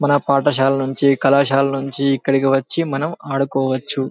మన పాఠశాల నుండి కాళాశాల నుండి ఇక్కడకి వచ్చి మనం ఆడుకోవచ్చు